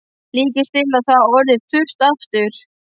Líkast til er það orðið þurrt aftur.